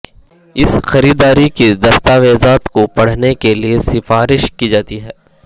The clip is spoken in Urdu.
اس خریداری کی دستاویزات کو پڑھنے کے لئے سفارش کی جاتی ہے